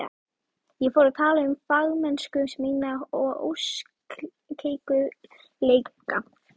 Ég fór að tala um fagmennsku mína og óskeikulleika.